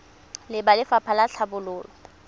le ba lefapha la tlhabololo